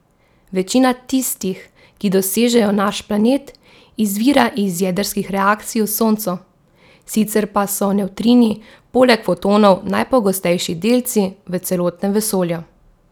Večina tistih, ki dosežejo naš planet, izvira iz jedrskih reakcij v Soncu, sicer pa so nevtrini poleg fotonov najpogostejši delci v celotnem vesolju.